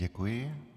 Děkuji.